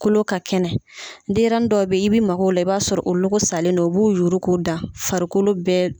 Kolo ka kɛnɛ. Denyɛrɛni dɔw be ye i bi mag'o la i b'a sɔrɔ o logo salen don. U b'u yuuru k'u da farikolo bɛɛ d